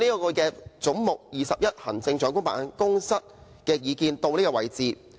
我對"總目 21— 行政長官辦公室"的意見到此為止。